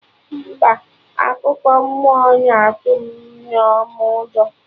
Mba, akụkọ mmụọ na atụ Nneoma ụjọ